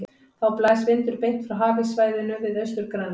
Þá blæs vindur beint frá hafíssvæðinu við Austur-Grænland.